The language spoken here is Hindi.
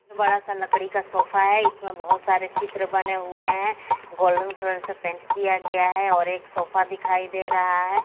बड़ा सा लकड़ी का सोफा हैं इसमें बहोत सारे चित्र बने हुवे हैं गोल्डन कलर से पेंट किया गया हैं और एक सोफा दिखाई दे रहा हैं।